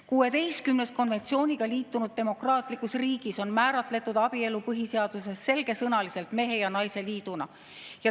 16‑s konventsiooniga liitunud demokraatlikus riigis on abielu põhiseaduses selgesõnaliselt määratletud mehe ja naise liiduna.